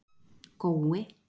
Gói